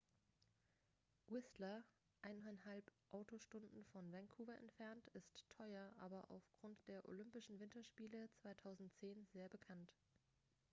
whistler 1,5 autostunden von vancouver entfernt ist teuer aber aufgrund der olympischen winterspiele 2010 sehr bekannt